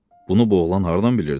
Bunu bu oğlan hardan bilirdi?